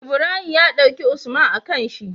Ibrahim ya daki usman a kanshi